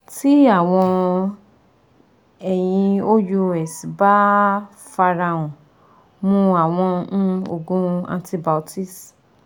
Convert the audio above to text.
Ti awọn eyin ous ba f arahan, mu awọn um oogun antibiotics